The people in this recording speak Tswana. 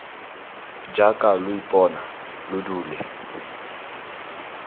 jaaka lo ipona lo dule